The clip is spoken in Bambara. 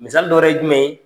Misali dɔ wɛrɛ ye jumɛn ye?